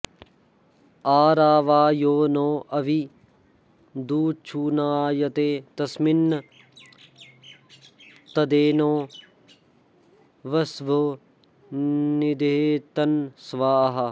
अरावा यो नो अभि दुच्छुनायते तस्मिन् तदेनो वसवो निधेतन स्वाहा